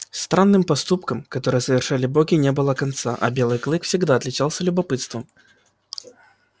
странным поступкам которые совершали боги не было конца а белый клык всегда отличался любопытством